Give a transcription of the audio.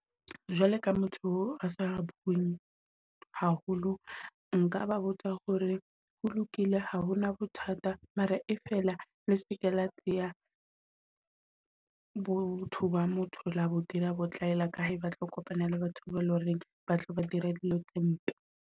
Jwale ka motho oo asa bueng haholo nka ba botsa hore ho lokile ha hona bothata mara, e feela le seke la tsea botho ba motho la bo dira botlaela ka ba tlo kopana le batho bao le horeng ba tlo dira dilo tse mpe.